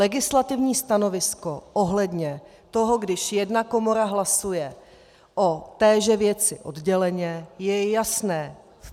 Legislativní stanovisko ohledně toho, když jedna komora hlasuje o téže věci odděleně, je jasné.